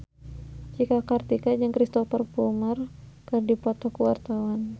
Cika Kartika jeung Cristhoper Plumer keur dipoto ku wartawan